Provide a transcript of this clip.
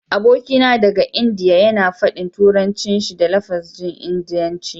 Abokina daga Indiya yana faɗin Turancinsa da lafazin Indiya.